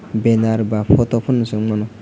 benar ba photo pono ungmano.